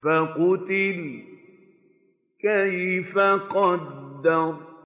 فَقُتِلَ كَيْفَ قَدَّرَ